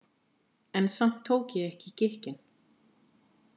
En samt tók ég ekki í gikkinn.